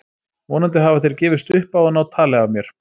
Vonandi hafa þeir gefist upp á að ná tali af mér.